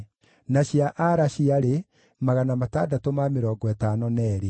na cia Pahathu-Moabi (iria cioimĩte harĩ Jeshua na Joabu) ciarĩ 2,818